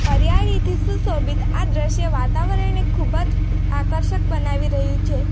હરિયાળીથી સુશોભિત આ દ્રશ્ય વાતાવરણને ખૂબ જ આકર્ષક બનાવી રહ્યું છે.